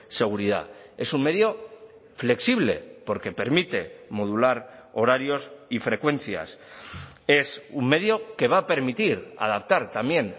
seguridad es un medio flexible porque permite modular horarios y frecuencias es un medio que va a permitir adaptar también